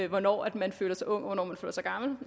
hvornår man føler sig ung hvornår man føler sig gammel